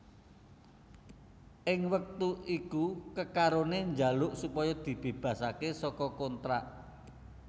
Ing wektu iku kekarone jaluk supaya dibebasake saka kontrak